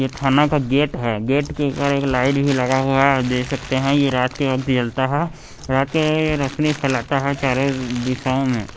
यह थाना का गेट है गेट के ऊपर एक लाइट भी लगा हुआ है आप देख सकते हैं यह रात के वक्त जलता है रात के रोशनी फैलाता है चारों दिशाओं में।